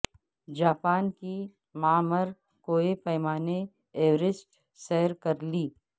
Japan کے معمر کوہ پیما نے ایورسٹ سر کر لی